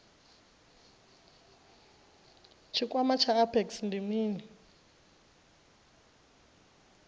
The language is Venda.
tshikwama tsha apex ndi mini